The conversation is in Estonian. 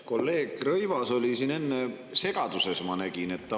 Kolleeg Rõivas oli siin enne segaduses, ma nägin seda.